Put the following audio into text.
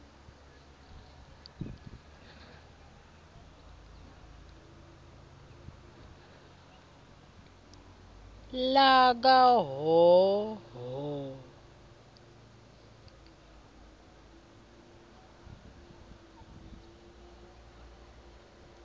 lakahhohho